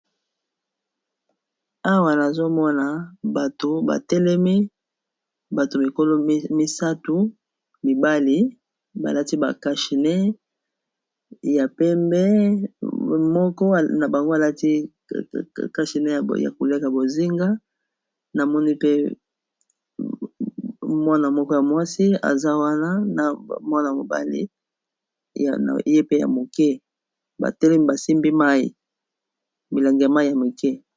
Awa nazomona bato batelemi bato mikolo misato mibali balati ba kashine ya pembe moko na bango balati kashine ya koleka bozinga na moni pe mwana moko ya mwasi aza wana na mwana mobali ye pe ya moke batelemi basimbi mai milangi ya mai ya moke.